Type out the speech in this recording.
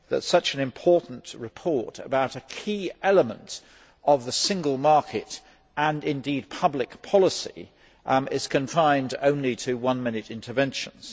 such an important report about a key element of the single market and indeed public policy is confined only to one minute interventions.